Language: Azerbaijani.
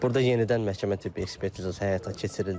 Burada yenidən məhkəmə tibbi ekspertizası həyata keçirildi.